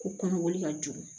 Ko kɔnɔkoli ka jugu